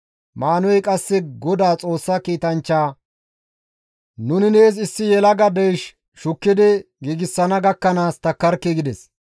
Maanuhey qasse Godaa Xoossa kiitanchchaa, «Nuni nees issi yelaga deysh shukkidi giigsana gakkanaas takkarkii» gides.